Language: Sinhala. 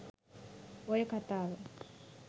ඔය කතාව